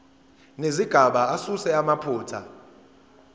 nezigaba asuse amaphutha